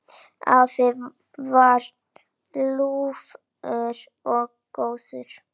Afi var ljúfur og góður.